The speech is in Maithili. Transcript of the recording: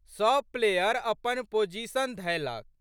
सब प्लेयर अपन पोजीशन धएलक।